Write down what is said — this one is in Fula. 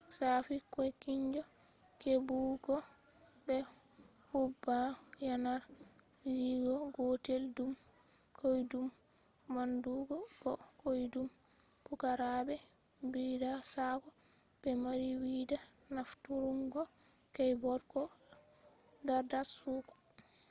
shafi koykinjo hebugo be hudba yanar gizo gotel dum koydum manndugo bo koydum pukaraabe bidda sakko be mari wida nafturungo keyboard ko dardarsugo